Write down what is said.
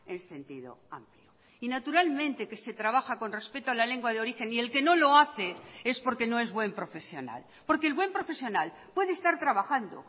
en sentido amplio y naturalmente que se trabaja con respeto a la lengua de origen y el que no lo hace es porque no es buen profesional porque el buen profesional puede estar trabajando